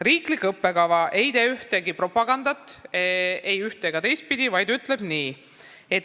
Riiklik õppekava ei tee propagandat, ei üht- ega teistpidi.